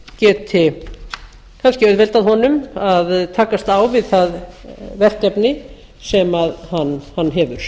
geti kannski auðveldað honum að takast á við það verkefni sem hann hefur